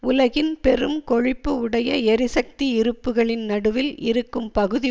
உலகின் பெரும் கொழிப்பு உடைய எரிசக்தி இருப்புக்களின் நடுவில் இருக்கும் பகுதி